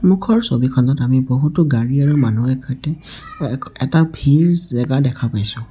সন্মুখৰ ছবিখনত আমি বহুতো গাড়ী আৰু মানুহৰ সৈতে এটা ভিৰ জেগা দেখা পাইছোঁ।